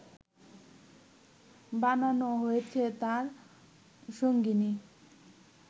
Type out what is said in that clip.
বানানো হয়েছে তার সঙ্গিনী